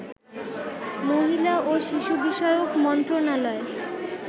মহিলা ও শিশু বিষয়ক মন্ত্রণালয়